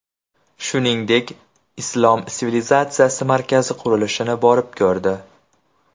Shuningdek, Islom sivilizatsiyasi markazi qurilishini borib ko‘rdi .